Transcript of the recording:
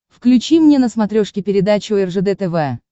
включи мне на смотрешке передачу ржд тв